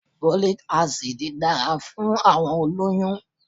Folic acid dára fún àwọn olóyú-ún